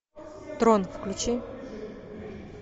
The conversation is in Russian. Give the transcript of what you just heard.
трон включи